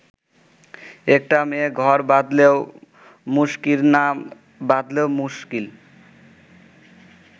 একটা মেয়ে ঘর বাঁধলেও মুশকিল, না বাঁধলেও মুশকিল।